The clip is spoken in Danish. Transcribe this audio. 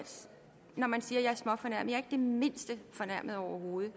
når man siger jeg er småfornærmet jeg er mindste fornærmet overhovedet